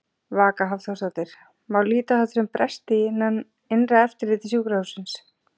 Vaka Hafþórsdóttir: Má líta á þetta sem bresti í innra eftirliti sjúkrahússins?